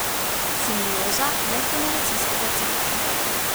Simbioza medgeneracijskega centra.